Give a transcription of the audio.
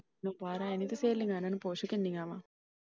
ਹਜ਼ੇ ਕਾਰ ਹੈਨੀ ਤੇ ਸਹੇਲੀਆਂ ਇਹਨਾਂ ਨੂੰ ਪੁੱਛ ਕਿੰਨੀਆਂ ਆ।